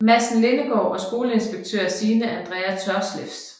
Madsen Lindegaard og skoleinspektør Signe Andrea Tørsleff